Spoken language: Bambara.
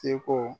Seko